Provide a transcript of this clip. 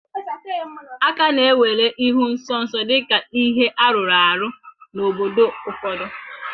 A ka na-ewere ịhụ nsọ nsọ dị ka ihe arụrụ arụ n'obodo ụfọdụ